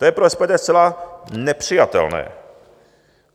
To je pro SPD zcela nepřijatelné.